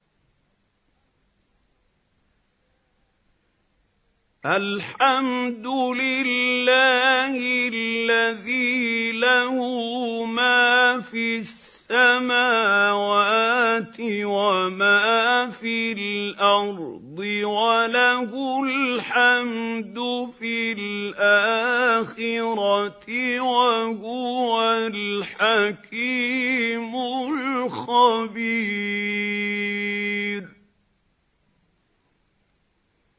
الْحَمْدُ لِلَّهِ الَّذِي لَهُ مَا فِي السَّمَاوَاتِ وَمَا فِي الْأَرْضِ وَلَهُ الْحَمْدُ فِي الْآخِرَةِ ۚ وَهُوَ الْحَكِيمُ الْخَبِيرُ